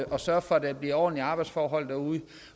sørge for at der bliver ordentlige arbejdsforhold